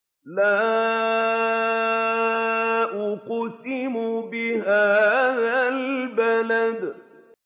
لَا أُقْسِمُ بِهَٰذَا الْبَلَدِ